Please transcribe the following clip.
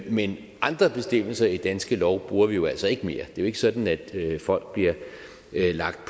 men andre bestemmelser i danske lov bruger vi jo altså ikke mere det er ikke sådan at folk bliver lagt